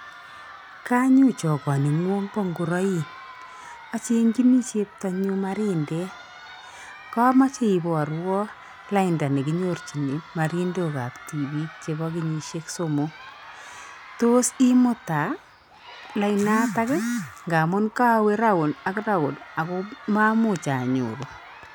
Kanyoo chokoning'wong' bo ngoroik. Achenginii cheptanyun marindet. Komoche iborwon lainda nekinyorjin marindok ap tipiik chebo kenyishek somok. Tos imutaa lainatak ii? Ngamu kowee round ak round ago mamuch anyoru.